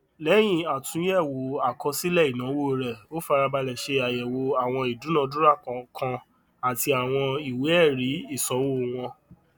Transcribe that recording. lẹyìn atúnyẹwò àkọsílẹ ináwó rẹ ó farabalẹ ṣe àyẹwò àwọn ìdúnàdúrà kọọkan àti àwọn ìwé ẹrí ìsanwó wọn